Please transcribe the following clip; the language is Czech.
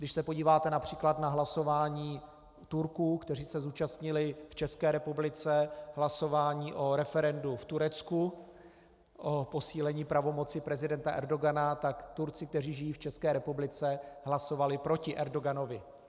Když se podíváte například na hlasování Turků, kteří se zúčastnili v České republice hlasování o referendu v Turecku o posílení pravomocí prezidenta Erdogana, tak Turci, kteří žijí v České republice, hlasovali proti Erdoganovi.